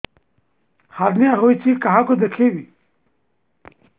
hernia ହୋଇଛି କାହାକୁ ଦେଖେଇବି